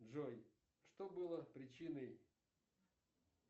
джой что было причиной